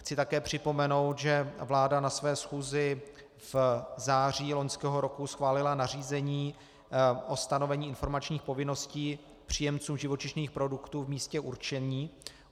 Chci také připomenout, že vláda na své schůzi v září loňského roku schválila nařízení o stanovení informačních povinností příjemcům živočišných produktů v místě určení.